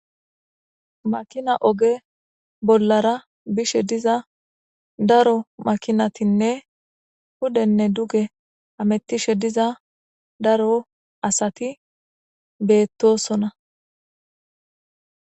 Maakina ogge bollara bishshe diiza daaro makinatinne puudene duugge haametishe diiza daaro asati bettosona.